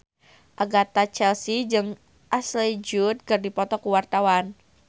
Agatha Chelsea jeung Ashley Judd keur dipoto ku wartawan